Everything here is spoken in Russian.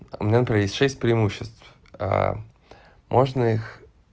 у меня например есть шесть преимуществ можно их